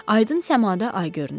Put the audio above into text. Aydın səmada ay görünürdü.